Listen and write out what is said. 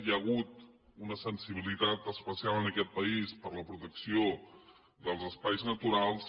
hi ha hagut una sensibilitat especial en aquest país per la protecció dels espais naturals